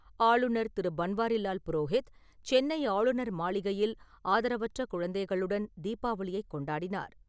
ஆளுநர் திரு பன்வாரிலால் புரோஹித், சென்னை ஆளுநர் மாளிகையில் ஆதரவற்ற குழந்தைகளுடன் தீபாவளியைக் கொண்டாடினார்.